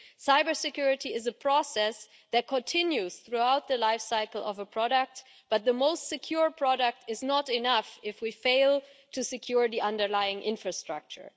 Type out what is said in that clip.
Cybersecurity is a process that continues throughout the life cycle of a product, but the most secure product is not enough if we fail to secure the underlying infrastructure.